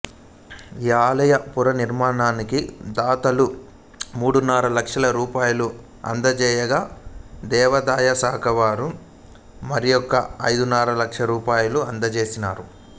ఈ ఆలయ పునర్నిర్మాణానికి దాతలు మూడున్నర లక్షల రూపాయలు అందజేయగా దేవాదాయశాఖవారు మరియొక ఐదున్నర లక్షల రూపాయలను అందజేసినారు